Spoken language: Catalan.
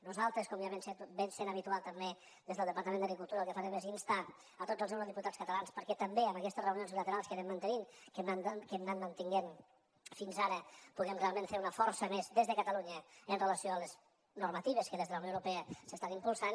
nosaltres com ja és habitual també des del departament d’agricultura el que farem és instar a tots els eurodiputats catalans perquè també en aquestes reunions bilaterals que anem mantenint que hem anat mantenint fins ara puguem realment fer una força més des de catalunya amb relació a les normatives que des de la unió europea s’estan impulsant